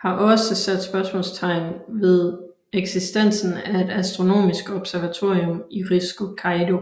har også sat spørgsmålstegn ved eksistensen af et astronomisk observatorium i Risco Caído